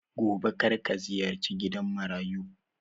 Gobe karka ziyarci gidan Marayu